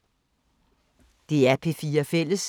DR P4 Fælles